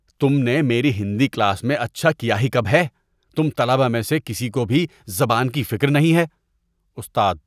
تم نے میری ہندی کلاس میں اچھا کیا ہی کب ہے؟ تم طلبہ میں سے کسی کو بھی زبان کی فکر نہیں ہے۔ (استاد)